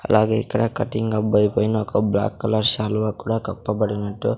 అలాగే ఇక్కడ కటింగ్ అబ్బాయి పైన ఒక బ్లాక్ కలర్ శాలువా కూడా కప్పబడినట్టు--